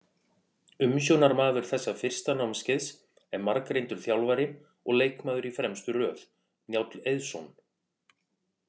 Umsjónarmaður þessa fyrsta námskeiðs er margreyndur þjálfari og leikmaður í fremstu röð, Njáll Eiðsson.